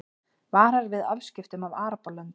Varar við afskiptum af Arabalöndum